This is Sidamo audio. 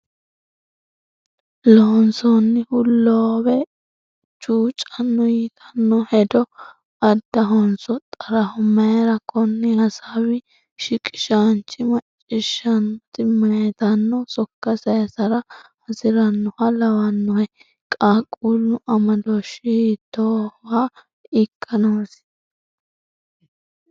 “Loonsohu loowe chuucanno,” yitanno hedo addahonso xaraho? Mayira? Konni hasaawi shiqishaanchi, macciishshaanote maytanno sokka saysara hasi’rinoha lawannohe? Qaaqquullu amadooshshi hiittooha ikka noosi?